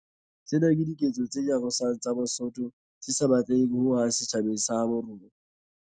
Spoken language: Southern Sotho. Tsena ke diketso tse nyarosang tsa bosoto tse sa batleheng ho hang setjhabeng sa habo rona.